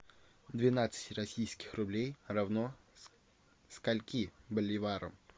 двенадцать российских рублей равно скольки боливарам